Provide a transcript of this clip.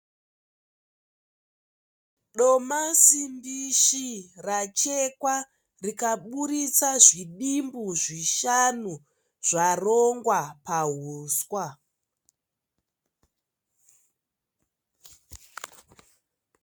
Domasi mbishi rachekwa rikabudisa zvidimbu zvishanu zvarongwa pahuswa.